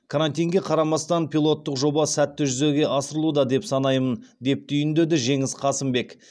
карантинге қарамастан пилоттық жоба сәтті жүзеге асырылуда деп санаймын деп түйіндеді жеңіс қасымбек